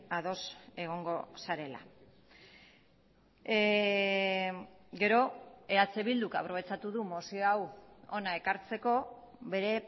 ados egongo zarela gero eh bilduk aprobetxatu du mozio hau hona ekartzeko bere